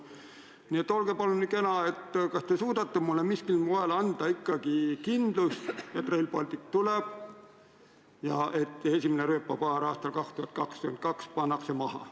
Nii et olge palun kena ja öelge, kas te suudate miskil moel anda kindlust, et Rail Baltic tuleb ja et esimene rööpapaar aastal 2022 pannakse maha.